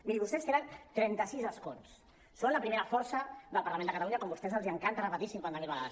miri vostès tenen trenta sis escons són la primera força del parlament de catalunya com a vostès els encanta repetir cinquanta mil vegades